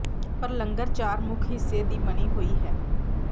ਪਰ ਲੰਗਰ ਚਾਰ ਮੁੱਖ ਹਿੱਸੇ ਦੀ ਬਣੀ ਹੋਈ ਹੈ